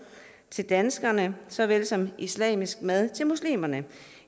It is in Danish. til danskere såvel som islamisk mad til muslimer